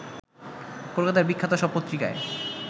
কলকাতার বিখ্যাত সব পত্রিকায়